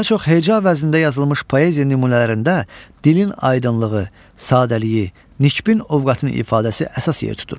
Daha çox heca vəznində yazılmış poeziya nümunələrində dilin aydınlığı, sadəliyi, nikbin ovqatın ifadəsi əsas yer tutur.